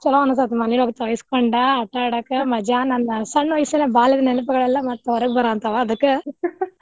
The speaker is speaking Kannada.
ಚುಲೊ ಅನಿಸ್ತ್ ಮಳಿಯೊಳಗ್ ತೊಯ್ಸ್ಕೊಂಡ್ ಆಟಾ ಆಡಾಕ ಮಜಾ ನನ್ ಸಣ್ಣ ವಯಸ್ಸಿನ್ಯಾಗ ಬಾಲ್ಯಡ್ ನೆನಪದವಲ್ಲಾ ಮತ್ ಹೊರಗ ಬರಾಂತಾವ ಅದಕ್ಕ್.